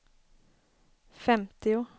femtio